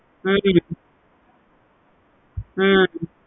ஹம் ஹம்